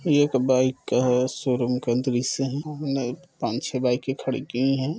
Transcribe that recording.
यह एक बाइक का है शोरूम का दृश्य है हमने पाँच-छे बाइके खड़ी की है।